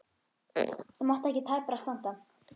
Það mátti ekki tæpara standa.